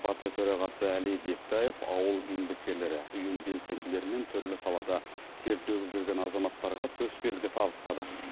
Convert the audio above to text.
партия төрағасы әли бектаев ауыл еңбеккерлері ұйым белсенділері мен түрлі салада тер төгіп жүрген азаматтарға төсбелгі табыстады